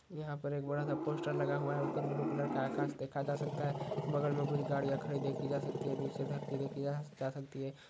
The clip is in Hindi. यहा पर एक बड़ा सा पोस्टर लगा हुआ है ऊपर ब्लू कलर का आकास देखा जा सकता है बगल मे कुछ गाड़िया खड़ी देखी जा सकती हैनीचे धरती देखी जा सकती है।